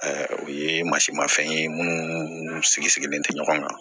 o ye masi mafɛn ye munnu sigi sigilen tɛ ɲɔgɔn kan